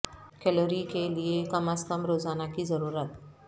calorie کے لئے کم از کم روزانہ کی ضرورت